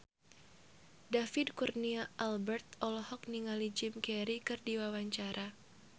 David Kurnia Albert olohok ningali Jim Carey keur diwawancara